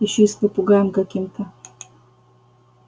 ещё и с попугаем каким-то